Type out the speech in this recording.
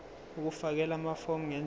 ukufakela amafomu ngendlela